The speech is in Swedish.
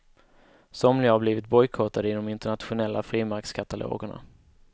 Somliga har blivit bojkottade i de internationella frimärkskatalogerna.